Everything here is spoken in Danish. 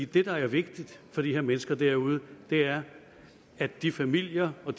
det der er vigtigt for de her mennesker derude er at de familier og